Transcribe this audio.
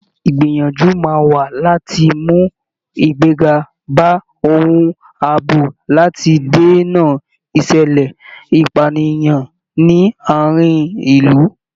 Ìgbìyànjú máa wà láti mú igbega bá ohun àbò láti dènà ìṣẹ̀lẹ̀ ìpànìyàn ní àárín ilu